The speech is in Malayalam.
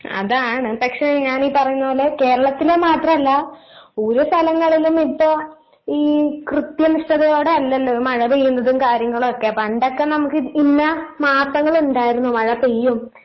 അതാണ് പക്ഷെ ഞാനീ പറയുന്ന പോലെ കേരളത്തിലെ മാത്രല്ല ഓരോ സ്ഥലങ്ങളിലും ഇപ്പൊ ഈ കൃത്യനിഷ്ഠതയോടെയല്ലല്ലോ മഴ പെയ്യുന്നതും കാര്യങ്ങളുവൊക്കെ. പണ്ടൊക്കെ നമുക്ക് ഇന്ന മാസങ്ങളുണ്ടായിരുന്നു മഴ പെയ്യും